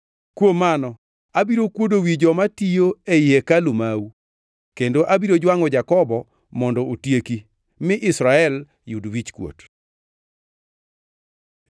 Kuom mano abiro kuodo wi joma tiyo ei hekalu mau, kendo abiro jwangʼo Jakobo mondo otieki, mi Israel yud wichkuot.”